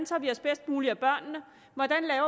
sig bedst muligt af børnene hvordan